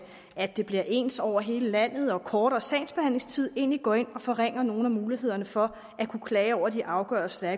at det bliver ens over hele landet og kortere sagsbehandlingstid egentlig går ind og forringer nogle af mulighederne for at klage over de afgørelser